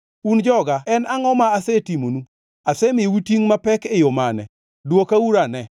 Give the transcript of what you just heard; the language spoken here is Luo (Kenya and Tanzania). “Un joga en angʼo ma asetimonu? Asemiyou tingʼ mapek e yo mane? Dwokauru ane.